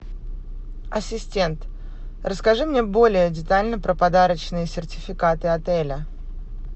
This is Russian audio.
ассистент расскажи мне более детально про подарочные сертификаты отеля